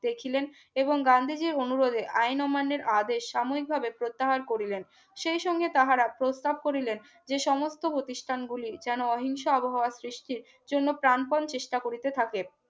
দেখিলেন এবং গান্ধীজীর অনুরোধে আইন অমান্যের আদেশ সাময়িকভাবে প্রত্যাহার করলেন সেই সঙ্গে তাহারা প্রস্তাব করিলেন যে সমস্ত প্রতিষ্ঠানগুলির যেন অহিংসা আবহাওয়ার সৃষ্টি জন্য প্রাণপণ চেষ্টা করতে থাকেন